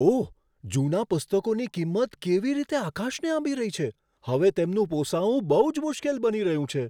ઓહ! જૂના પુસ્તકોની કિંમત કેવી રીતે આકાશને આંબી રહી છે. હવે તેમનું પોસાવું બહુ જ મુશ્કેલ બની રહ્યું છે.